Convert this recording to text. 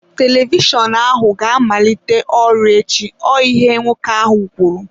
Televishọnụ ahụ ga-amalite ọrụ echi, ọ ihe nwoke ahụ kwuru.